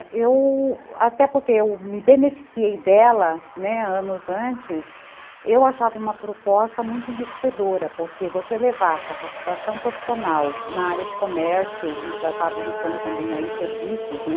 Eu... até porque eu me beneficiei dela anos antes, eu achava uma proposta muito enriquecedora, porque você levar capacitação profissional na área de comércio, e já estava iniciando também serviços, né?